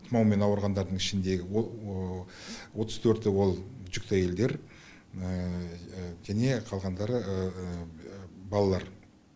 тұмаумен ауырғандардың ішіндегі отыз төрті ол жүкті әйелдер және қалғандары балалар